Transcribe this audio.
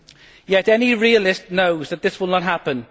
Yet any realist knows that this will not happen.